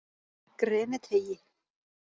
Greniteigi